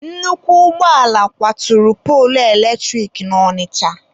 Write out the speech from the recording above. Nnukwu ụgbọala kwaturu poolu eletrik na Ọnịcha.